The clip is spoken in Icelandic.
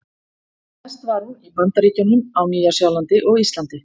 Mest var hún í Bandaríkjunum, á Nýja-Sjálandi og Íslandi.